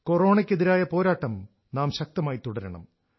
കൊറോണയ്ക്കെതിരായ പോരാട്ടം നാം ശക്തമായി തുടരണം